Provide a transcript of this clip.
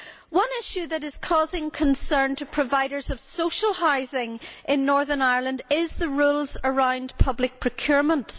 One issue that is causing concern to providers of social housing in Northern Ireland is the rules around public procurement.